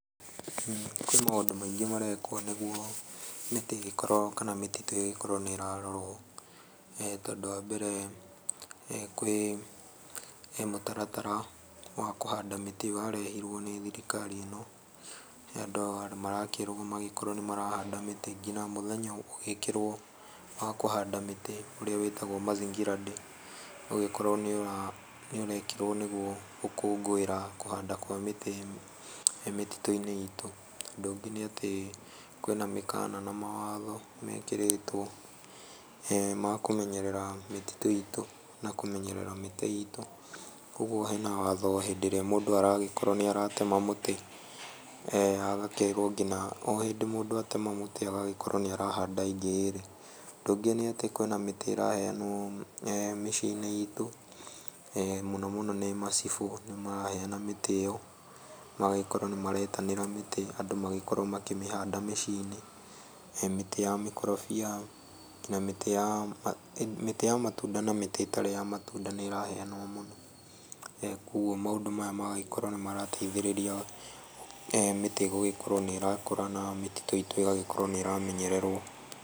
Kwĩna maũndũ maingĩ marekwo nĩguo mĩtĩ ĩgĩkorwo kana mĩtitũ ĩgĩkorwo nĩ ĩrarorwo tondũ wa mbere kwĩ mũtaratara wa kũhanda mĩtĩ warehirwo nĩ thirikari ĩno ya andũ nĩ marakĩrwo magĩkĩrwo nĩ marahanda mĩtĩ nginya mũthenya ũgĩkĩrwo nĩ wa kũhanda mĩtĩ ũrĩa wĩtagwo mazingira day ũgĩkorwo nĩ ũrekĩrwo nĩguo gũkũngũĩra kũhanda kwa mĩtĩ mĩtitũ-inĩ itũ, ũndũ ũngĩ nĩ atĩ kwĩna mĩkana na mawatho mekĩrĩtwo ya kũmenyera mĩtitũ itũ na kũmenyerera mĩtĩ itũ koguo hena watho rĩrĩa mũndũ arakorwo nĩ ara tema mũtĩ agakĩrwo nginya o hĩndĩ mũndũ atema mũtĩ agagĩkorwo nĩ arahanda ĩngĩ ĩrĩ, ũndũ ũngĩ nĩ atĩ kwĩna mĩtĩ ĩraheanwo mĩciĩ-inĩ itũ mũno mũno nĩ macibũ nĩ maraheana mĩtĩ ĩyo magagĩkoro ni maretanĩra mĩtĩ andũ magakorwo makĩmĩhanda mĩciĩ-inĩ mĩtĩ ya mĩkorobia nginya mĩtĩ ya matunda na mĩtĩ ĩtarĩ ya matunda nĩ ĩraheanwo mũno koguo maũndũ maya magagĩkorwo nĩ mara teithĩrĩria mĩti gũkorwo nĩ ĩra kũra nayo mĩtitũ itũ ĩgagĩkorwo nĩ ĩramenyererwo.